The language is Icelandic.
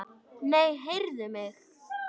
Nei, heyrðu mig.